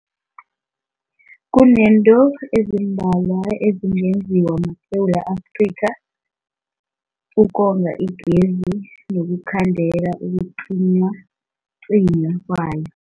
Kunezinto ezimbalwa ezingenziwa maSewula Afrika ukonga igezi nokukhandela ukucinywacinywa kwayo.